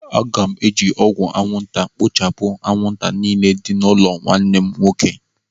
Aga m eji ọgwụ anwụnta ekpochapụ anwụnta niile nọ n'ụlọ nwanne m nwoke.